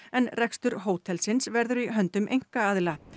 en rekstur hótelsins verður í höndum einkaaðila